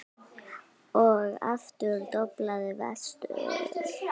Og aftur doblaði vestur.